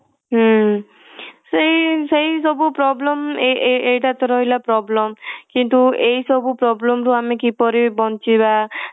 ହୁଁ ସେଇ ସେଇ ସବୁ problem ଏଇ ଏଇଟା ତ ରହିଲା problem କିନ୍ତୁ ଏଇ ସବୁ problem ରୁ ଆମେ କିପରି ବଞ୍ଚିବା